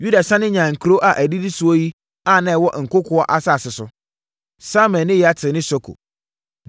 Yuda sane nyaa nkuro a ɛdidi so yi a na ɛwɔ nkokoɔ asase so: Samir ne Yatir ne Soko,